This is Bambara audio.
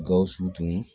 Gawusu tun